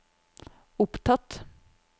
opptatt